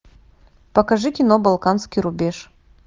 покажи кино балканский рубеж